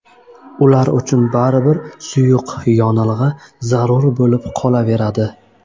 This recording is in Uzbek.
Ular uchun baribir suyuq yonilg‘i zarur bo‘lib qolaveradi.